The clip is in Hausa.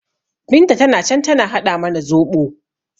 Binta tana can tana haɗa mana zoɓo